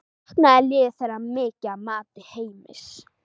Þessi lög eru sennilega jarðvegur að uppruna.